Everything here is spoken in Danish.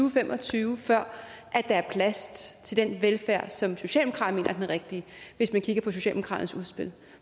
og fem og tyve før der er plads til den velfærd som socialdemokraterne mener er den rigtige hvis man kigger på socialdemokraternes udspil